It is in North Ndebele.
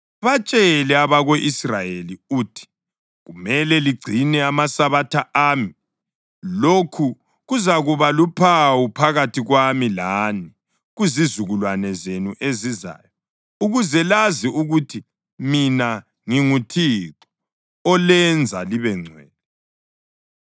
“Batshele abako-Israyeli uthi, ‘Kumele ligcine amaSabatha ami. Lokhu kuzakuba luphawu phakathi kwami lani kuzizukulwane zenu ezizayo, ukuze lazi ukuthi mina nginguThixo olenza libengcwele.